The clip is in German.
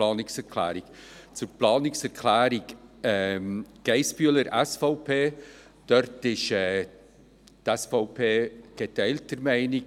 Zur Planungserklärung Geissbühler, SVP: Hier ist die SVP geteilter Meinung.